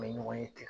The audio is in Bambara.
Bɛ ɲɔgɔn ye ten